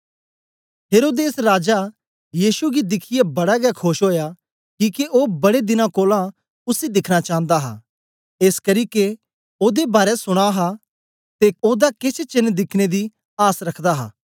हेरोदेस राजा यीशु गी दिखियै बड़ा गै खोश ओया किके ओ बड़े दिना कोलां उसी दिखना चांदा हा एसकरी के ओदे बारै सुना हा ते ओदा केछ चेन्न दिखने दी आस रखदा हा